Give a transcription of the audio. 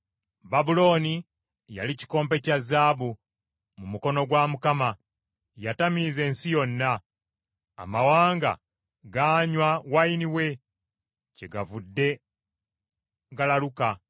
Babulooni yali kikompe kya zaabu mu mukono gwa Mukama ; yatamiiza ensi yonna. Amawanga gaanywa wayini we, kyegavudde galaluka.